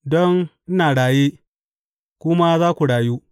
Don ina raye, ku ma za ku rayu.